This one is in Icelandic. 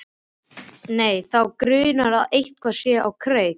Nei, þá grunar að eitthvað sé á kreiki.